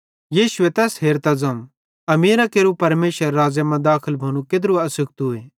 यीशुए तैस हेरतां ज़ोवं अमीरां केरू परमेशरेरे राज़्ज़े मां दाखल भोनू केत्रू आसुखतुए